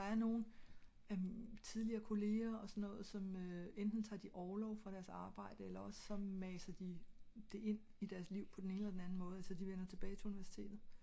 der er nogle tidligere kolleger og sådan noget som enten tager årlov fra deres arbejde ellers ogs masser de det ind i deres liv på en eller anden måde hvor de vender tilbage til universitet